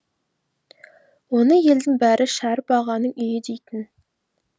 оны елдің бәрі шәріп ағаның үйі дейтін